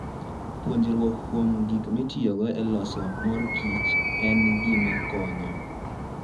Puonjruok kuom gik mitiyogo e loso mor kich en gima konyo.